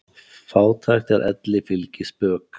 Fátækt er elli fylgispök.